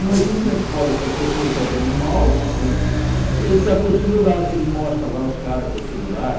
Imagina na escola que a professora está dando uma aula, você... Ele está com o celular, que nem mostra lá os caras com o celular.